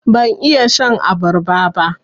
Ban iya shan abarba ba.